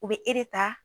U bɛ e de ta